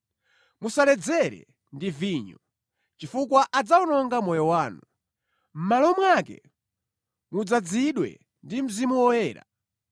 Musaledzere ndi vinyo, chifukwa adzawononga moyo wanu. Mʼmalo mwake, mudzazidwe ndi Mzimu Woyera.